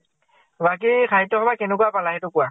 বাকী সাহিত্য় সভা কেনেকুৱা পালা, সেইটো কোৱা ?